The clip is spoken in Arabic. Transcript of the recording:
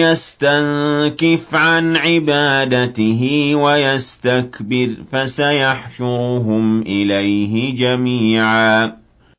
يَسْتَنكِفْ عَنْ عِبَادَتِهِ وَيَسْتَكْبِرْ فَسَيَحْشُرُهُمْ إِلَيْهِ جَمِيعًا